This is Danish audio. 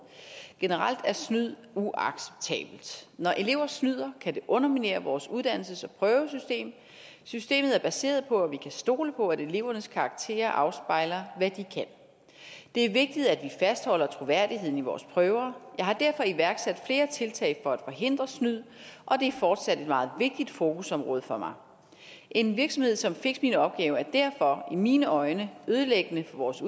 generelt er snyd uacceptabelt når elever snyder kan det underminere vores uddannelses og prøvesystem systemet er baseret på at vi kan stole på at elevernes karakterer afspejler hvad de kan det er vigtigt at vi fastholder troværdigheden i vores prøver jeg har derfor iværksat flere tiltag for at forhindre snyd og det er fortsat et meget vigtigt fokusområde for mig en virksomhed som fixminopgavedk er derfor i mine øjne ødelæggende for vores